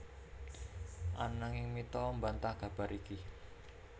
Ananging Mitha mbantah kabar iki